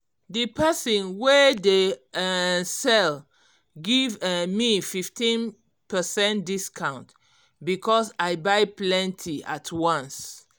d person wey dey um sell give um me 15 percent discount because i buy plenty at once